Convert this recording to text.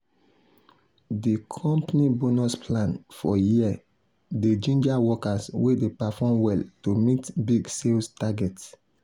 the company bonus plan for year dey ginger workers wey dey perform well to meet big sales target.